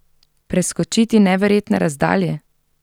Preskočiti neverjetne razdalje?